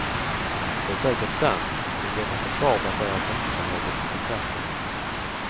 Det är säkert sant, men detta försvar baserades inte på något förkastande.